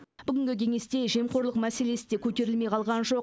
бүгінгі кеңесте жемқорлық мәселесі де көтерілмей қалған жоқ